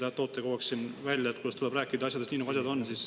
Te ise toote kogu aeg siin välja, kuidas tuleb rääkida asjadest nii, nagu asjad on.